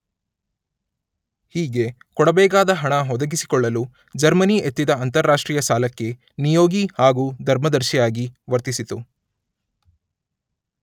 ಹೀಗೆ ಕೊಡಬೇಕಾದ ಹಣ ಒದಗಿಸಿಕೊಳ್ಳಲು ಜರ್ಮನಿ ಎತ್ತಿದ ಅಂತಾರಾಷ್ಟ್ರೀಯ ಸಾಲಕ್ಕೆ ನಿಯೋಗಿ ಹಾಗೂ ಧರ್ಮದರ್ಶಿಯಾಗಿ ವರ್ತಿಸಿತು